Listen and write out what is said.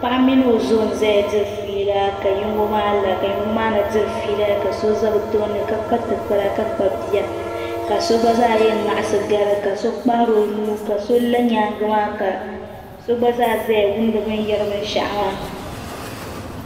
Paɣa mini o zo n zaya diri fiila ka yino maa la ka yino maa na diri fiila ka so za bɛ tooni ka kpa tikpara ka kpabi bia ka so gba zaa yɛn ŋaɣisi gari ka so kpahiri o nuu ka so la nyaangi maa ka so gba zaya wumdi bɛ ni yari binshɛɣu maa.